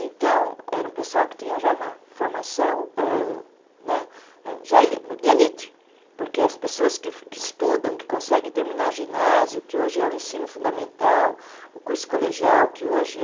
Então, era um pessoal que tinha já uma formação âh né, âh já eh de elite, porque as pessoas que estudam, que conseguem terminar ginásio, que hoje é o ensino fundamental, o curso colegial, que hoje é